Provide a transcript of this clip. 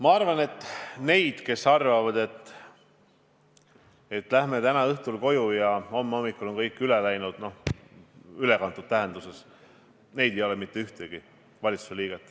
Ma arvan, et neid, kes arvavad, et läheme täna õhtul koju ja homme hommikul on kõik üle läinud, ei ole valitsuses mitte ühtegi.